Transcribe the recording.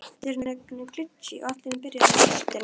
Arnika, hvað er á áætluninni minni í dag?